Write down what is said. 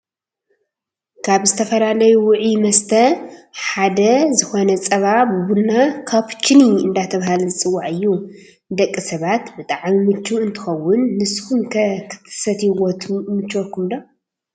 ካብ ዝተፈላለዩ ውዑይ መስተ ሓደ ዝኮነ ፃባ ብቡና /ካቡችኒ/ እንዳተባሃለ ዝፅዋዕ እዩ። ንደቂ ሰባት ብጣዕሚ ሙችው እንትከውን ንሱኩምከ ክትሰትይዎ ይምችወኩም ዶ?